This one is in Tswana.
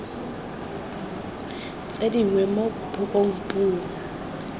tse dingwe mo puong puo